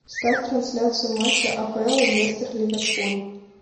ставь трансляцию матча апл лестер ливерпуль